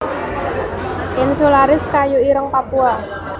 insularis kayu ireng Papua